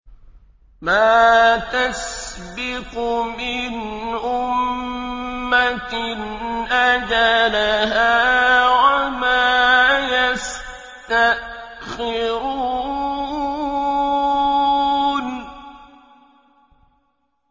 مَا تَسْبِقُ مِنْ أُمَّةٍ أَجَلَهَا وَمَا يَسْتَأْخِرُونَ